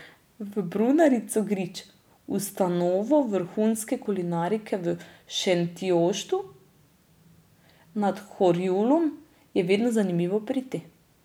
V brunarico Grič, ustanovo vrhunske kulinarike v Šentjoštu nad Horjulom, je vedno zanimivo priti.